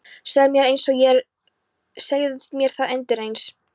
Segðu mér einsog er og segðu mér það undireins.